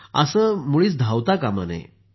असं मुळीच धावता कामा नये